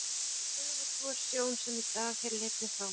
hvað fögur sú er sjón, sem í dag hér litið fáum.